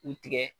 U tigɛ